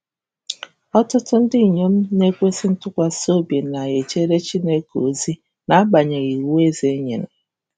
Ọtụtụ ndị inyom na-ekwesị ntụkwasị obi na-ejere Chineke ozi n’agbanyeghị “iwu eze nyere”